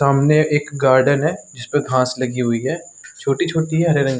सामने एक गार्डन है जिसपे घास लगी हुई है छोटी -छोटी है हरे रंग --